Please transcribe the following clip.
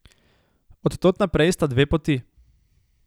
Od tod naprej sta dve poti.